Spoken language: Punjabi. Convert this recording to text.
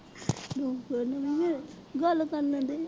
ਗੱਲ ਕਰਨੇ ਦੇ।